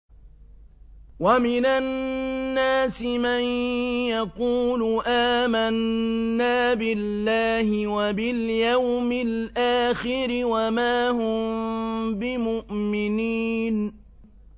وَمِنَ النَّاسِ مَن يَقُولُ آمَنَّا بِاللَّهِ وَبِالْيَوْمِ الْآخِرِ وَمَا هُم بِمُؤْمِنِينَ